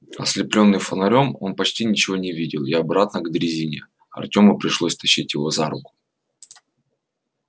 ослеплённый фонарём он почти ничего не видел и обратно к дрезине артему пришлось тащить его за руку